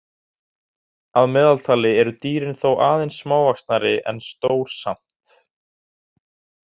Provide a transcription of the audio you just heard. Að meðaltali eru dýrin þó aðeins smávaxnari en stór samt.